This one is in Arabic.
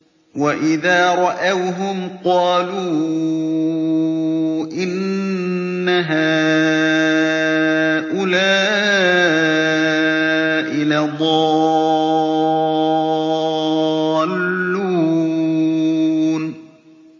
وَإِذَا رَأَوْهُمْ قَالُوا إِنَّ هَٰؤُلَاءِ لَضَالُّونَ